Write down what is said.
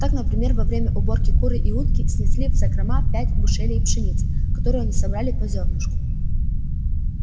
так например во время уборки куры и утки снесли в закрома пять бушелей пшеницы которую они собрали по зёрнышку